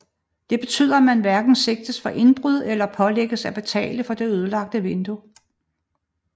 Det betyder at man hverken sigtes for indbrud eller pålægges at betale for det ødelagte vindue